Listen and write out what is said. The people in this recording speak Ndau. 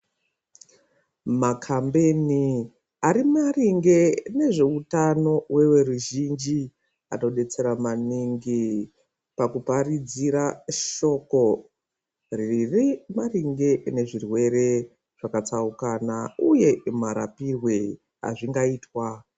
Makhambeni arimaringe nezveutano weveruzhinji, anobetsera maningi pakuparidzira shoko ririmaringe nezvirwere zvakatsaukana, uye marapirwe azvingaitwa.